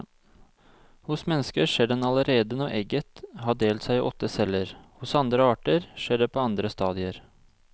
Hos mennesker skjer den allerede når egget har delt seg i åtte celler, hos andre arter skjer det på andre stadier.